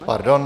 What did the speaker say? Pardon.